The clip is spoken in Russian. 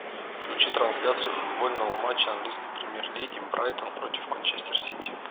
включи трансляцию футбольного матча английской премьер лиги брайтон против манчестер сити